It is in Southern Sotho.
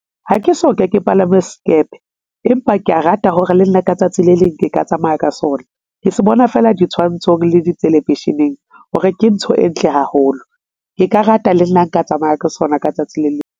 Ha ke soka ke palama s'kepe empa kea rata hore le nna ka tsatsi le leng ke ka tsamaya ka sona, ke se bona feela ditshwantshong le di television-eng hore ke ntho e ntle haholo, Ke ka rata le nna nka tsamaya ka sona ka tsatsi le leng.